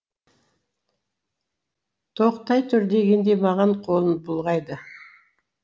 тоқтай тұр дегендей маған қолын бұлғайды